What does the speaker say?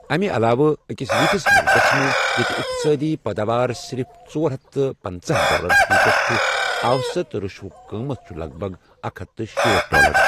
اَمِہ علاوٕ، أکِس یِتھِس مُلکس منٛز ییٚتہِ اقتصٲدی پٲداوار صرف ژور ہتھ تہٕ پٕنٛژٕہہ ڈالر فی كس چھِ، اوسط رُشوک قۭمتھ چھِ لَگ بَگ اکھ ہتھ تہٕ شیٹھ ڈالر۔